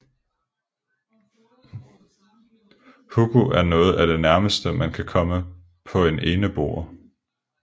Hugo er noget af det nærmeste man kan komme på en eneboer